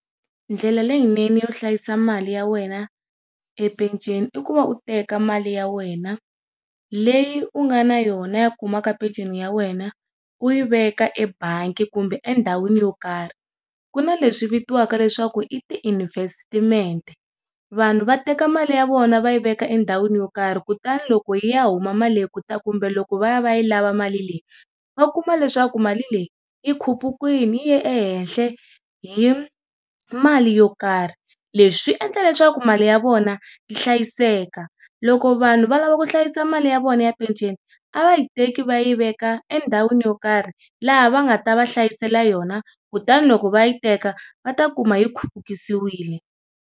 Ndlela leyinene yo hlayisa mali ya wena e peceni, i ku va u teka mali ya wena, leyi u nga na yona ya ku huma ka peceni ya wena, u yi veka ebangi kumbe endhawini yo karhi. Ku na leswi vitiwaka leswaku i ti-investimente. vanhu va teka mali ya vona va yi veka endhawini yo karhi kutani loko yi ya huma mali leyi kumbe loko va ya va ya yi lava mali leyi, va kuma leswaku mali leyi, i khupukile yi ye ehehla hi mali yo karhi. Leswi swi endla leswaku mali ya vona hlayiseka. Loko vanhu va lava ku hlayisa mali ya vona ya peceni, a va yi teki va yi veka endhawini yo karhi, laha va nga ta va hlayisela yona kutani loko va yi teka, va ta kuma yi khupukisiwile.